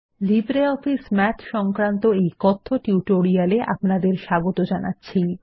LibreOffice Math সংক্রান্ত এই কথ্য টিউটোরিয়ালে আপনাদের স্বাগত জানাচ্ছি